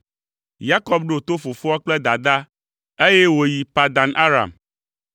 Yakob ɖo to fofoa kple dadaa, eye wòyi Padan Aram.